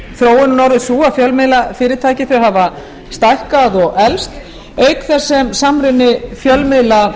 þróunin orðið sú að fjölmiðlafyrirtæki hafa stækkað og eflst auk þess sem samruni fjölmiðla